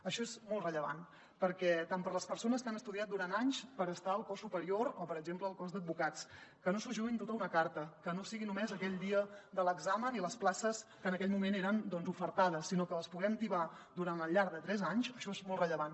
això és molt rellevant tant per a les persones que han estudiat durant anys per estar al cos superior com per exemple al cos d’advocats que no s’ho juguin tot a una carta que no sigui només aquell dia de l’examen i per a les places que en aquell moment eren doncs ofertades sinó que les puguem tibar al llarg de tres anys això és molt rellevant